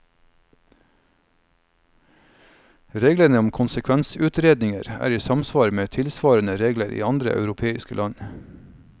Reglene om konsekvensutredninger er i samsvar med tilsvarende regler i andre europeiske land.